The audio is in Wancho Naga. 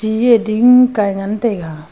eiya ti hing kai ngan taiga.